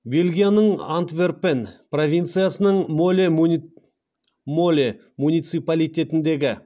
бельгияның антверпен провинциясының моле муниципалитетіндегі